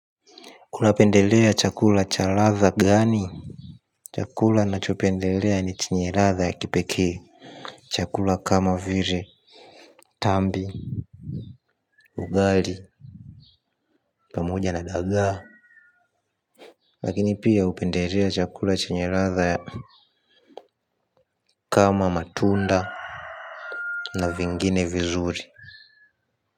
Unapendelea chakula cha ladha gani. Chakula ninachopendelea ni chenye ladha ya kipekee. Chakula kama vile, tambi, ugali pamoja na dagaa. Lakini pia hupendelea chakula chenye ladha ya kama matunda na vingine vizuri.